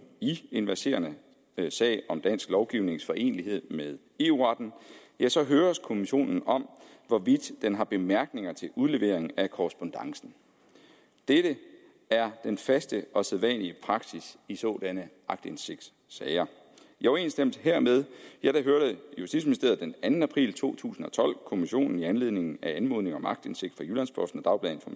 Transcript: i en verserende sag om dansk lovgivnings forenelighed med eu retten ja så høres kommissionen om hvorvidt den har bemærkninger til udlevering af korrespondancen dette er den faste og sædvanlige praksis i sådanne aktindsigtssager i overensstemmelse hermed hørte justitsministeriet den anden april to tusind og tolv kommissionen i anledning af anmodning om aktindsigt fra jyllands posten og